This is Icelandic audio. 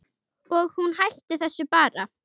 Og hún hætti þessu bara.